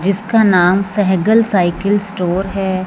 जिसका नाम Sehgal cycle store है।